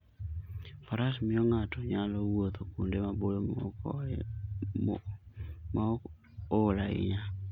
Faras miyo ng'ato nyalo wuotho kuonde maboyo maok ool ahinya.